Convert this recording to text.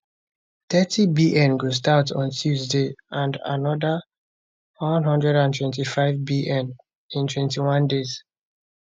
30bn go start on tuesday and anoda 125bn in 21 days